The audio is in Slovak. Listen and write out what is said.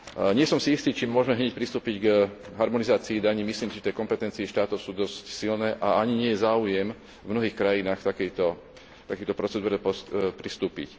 Nie som si istý, či môžme hneď pristúpiť k harmonizácii daní. Myslím, že tie kompetencie štátov sú dosť silné a ani nie je záujem v mnohých krajinách k takejto procedúre pristúpiť.